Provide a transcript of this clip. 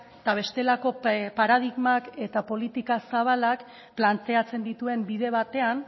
eta bestelako paradigmak eta politika zabalak planteatzen dituen bide batean